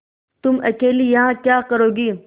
तुम अकेली यहाँ क्या करोगी